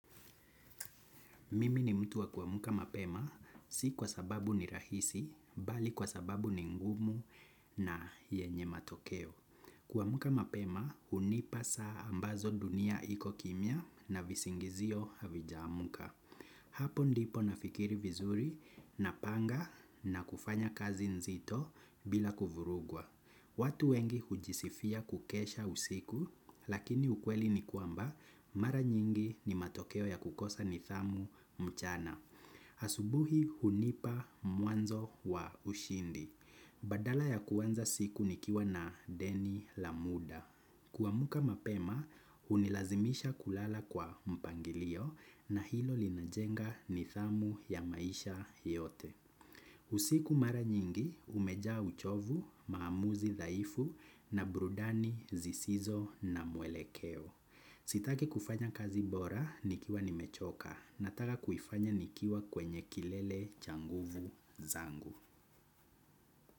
Mimi ni mtu wa kuamka mapema, si kwa sababu ni rahisi, bali kwa sababu ni ngumu na yenye matokeo. Kuamka mapema, hunipa saa ambazo dunia iko kimya na visingizio havijaamka. Hapo ndipo nafikiri vizuri napanga na kufanya kazi nzito bila kuvurugwa. Watu wengi hujisifia kukesha usiku, lakini ukweli ni kwamba mara nyingi ni matokeo ya kukosa nidhamu mchana. Asubuhi hunipa mwanzo wa ushindi. Badala ya kuanza siku nikiwa na deni la muda. Kuamka mapema, hunilazimisha kulala kwa mpangilio na hilo linajenga nidhamu ya maisha yote. Usiku mara nyingi, umejaa uchovu, maamuzi, dhaifu na burudani, zisizo na mwelekeo. Sitaki kufanya kazi bora, nikiwa nimechoka. Nataka kuifanya nikiwa kwenye kilele cha nguvu zangu.